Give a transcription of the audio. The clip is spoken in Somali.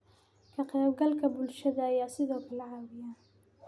Ka-qaybgalka bulshada ayaa sidoo kale caawiya.